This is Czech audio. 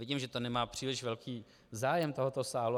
Vidím, že to nemá příliš velký zájem tohoto sálu.